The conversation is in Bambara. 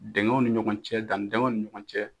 Dinkɛnw ni ɲɔgɔn cɛ dani dinkɛnw ni ɲɔgɔn cɛ